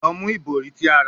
Lọ mu ibori ti a ra